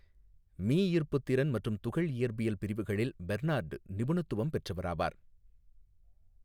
மீஈர்ப்புத்திறன் மற்றும் துகள் இயற்பியல் பிரிவுகளில் பெர்னார்டு நிபுணத்துவம் பெற்றவராவார்.